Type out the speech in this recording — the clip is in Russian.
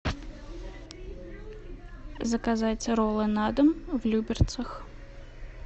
заказать роллы на дом в люберцах